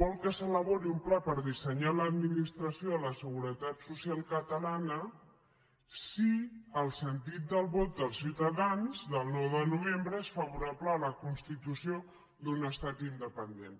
vol que s’elabori un pla per dissenyar l’administració de la seguretat social catalana si el sentit del vot dels ciutadans del nou de novembre és favorable a la constitució d’un estat independent